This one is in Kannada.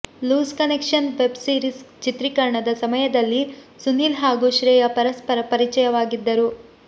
ಲೂಸ್ ಕನೆಕ್ಷನ್ ವೆಬ್ ಸೀರಿಸ್ ಚಿತ್ರೀಕರಣದ ಸಮಯದಲ್ಲಿ ಸುನೀಲ್ ಹಾಗೂ ಶ್ರೇಯಾ ಪರಸ್ಪರ ಪರಿಚಯವಾಗಿದ್ದರು